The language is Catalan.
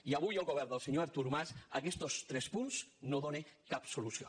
i avui el govern del senyor artur mas a aquestos tres punts no els dóna cap solució